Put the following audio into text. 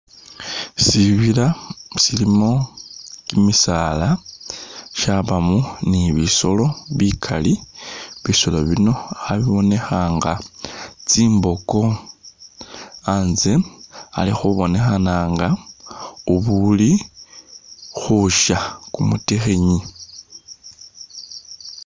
Sibila silimo kimisaala, shabamo ni bisoolo bikaali bisoolo bino khabibonekha nga tsimboko, anze alikhubonekhanga ubuli-khusha kumutikhinyi